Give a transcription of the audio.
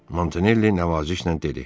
Montanelli nəvazişlə dedi.